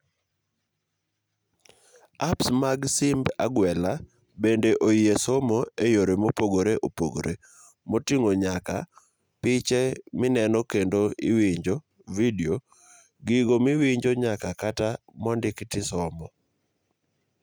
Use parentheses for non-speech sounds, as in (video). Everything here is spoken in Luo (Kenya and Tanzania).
Apps mag simb agwela bende oyie somo eyore mopogre opogre moting'o nyaka piche minenokendo iwinjo (video) gigo miwinjo nyaka kata mondiki tisomo.